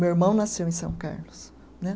Meu irmão nasceu em São Carlos, né